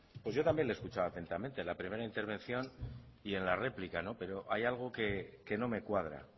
pues yo también le he escuchado atentamente en la primera intervención y en la réplica pero hay algo que no me cuadra